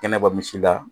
Kɛnɛ bɔ misi la